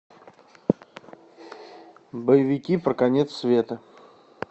боевики про конец света